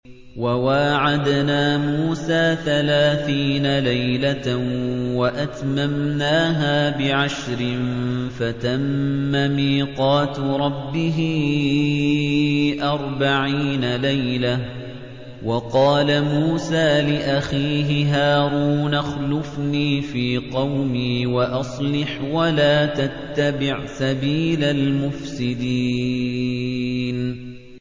۞ وَوَاعَدْنَا مُوسَىٰ ثَلَاثِينَ لَيْلَةً وَأَتْمَمْنَاهَا بِعَشْرٍ فَتَمَّ مِيقَاتُ رَبِّهِ أَرْبَعِينَ لَيْلَةً ۚ وَقَالَ مُوسَىٰ لِأَخِيهِ هَارُونَ اخْلُفْنِي فِي قَوْمِي وَأَصْلِحْ وَلَا تَتَّبِعْ سَبِيلَ الْمُفْسِدِينَ